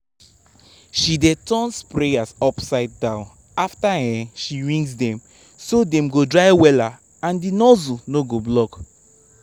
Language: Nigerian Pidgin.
she dey turn sprayers upside down after um she rinse them so dem go dry wella and the nozzle no go block.